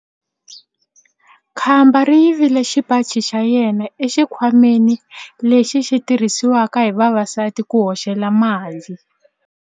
Khamba ri yivile xipaci xa yena exikhwameni lexi xi tirhisiwaka hi vavasati ku hoxela mali.